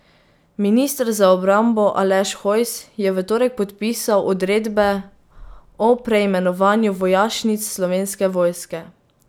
Minister za obrambo Aleš Hojs je v torek podpisal odredbe o preimenovanju vojašnic Slovenske vojske.